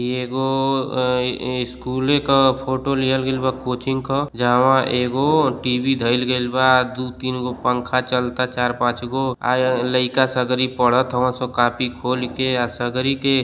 ई एगो अं ए स्कूले क फोटो लिहल गइल बा कोचिंग क जहवा एगो टी.वी. धईल गइल बा आ दु तीन गो पंखा धईल चलता चार पांच गो आ एं लइका सगरी पढ़तर हवन स कॉपी खोल के आ सगरी के --